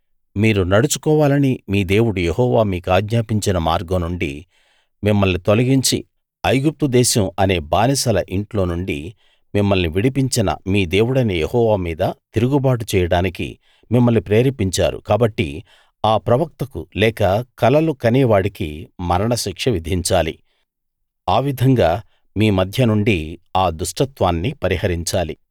మీరు నడుచుకోవాలని మీ దేవుడు యెహోవా మీకాజ్ఞాపించిన మార్గం నుండి మిమ్మల్ని తొలగించి ఐగుప్తు దేశం అనే బానిసల ఇంట్లో నుండి మిమ్మల్ని విడిపించిన మీ దేవుడైన యెహోవా మీద తిరుగుబాటు చేయడానికి మిమ్మల్ని ప్రేరేపించారు కాబట్టి ఆ ప్రవక్తకు లేక కలలు కనేవాడికి మరణశిక్ష విధించాలి ఆ విధంగా మీ మధ్య నుండి ఆ దుష్టత్వాన్ని పరిహరించాలి